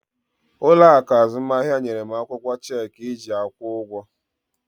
Ụlọ akụ azụmahịa nyere m akwụkwọ cheeki iji akwụ ụgwọ.